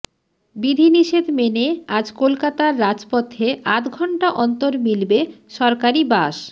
বিধিনিষেধ মেনে আজ কলকাতার রাজপথে আধ ঘন্টা অন্তর মিলবে সরকারি বাস